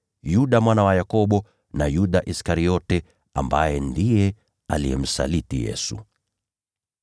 Yuda mwana wa Yakobo, na Yuda Iskariote ambaye alikuwa msaliti.